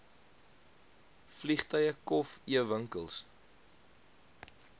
vliegtuie kof ewinkels